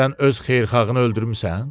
Sən öz xeyirxahını öldürmüsən?